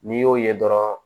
N'i y'o ye dɔrɔn